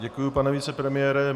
Děkuji, pane vicepremiére.